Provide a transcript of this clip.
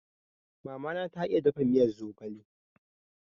Mama na ta iya dafa miyar zogale